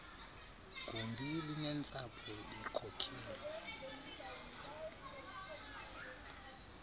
gumbi linentsapho bekhokelwe